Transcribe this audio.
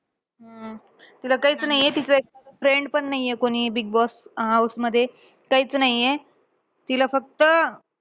हा तिला काहीच नाहीये. तिचं friends पण नाहीये कोणी बिगबॉस अं house मध्ये. काहीच नाहीये. तिला फक्त अं